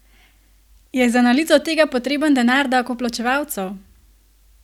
Je za analizo tega potreben denar davkoplačevalcev?